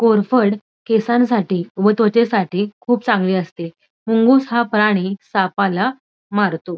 कोरफड केसांसाठी व त्वचेसाठी खूप चांगली असते मुंगूस हा प्राणी सापाला मारतो.